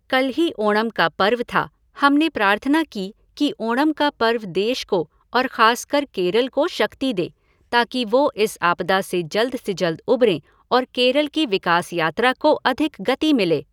कल ही ओणम का पर्व था, हमने प्रार्थना की कि ओणम का पर्व देश को और खासकर केरल को शक्ति दे ताकि वो इस आपदा से जल्द से जल्द उबरें और केरल की विकास यात्रा को अधिक गति मिले।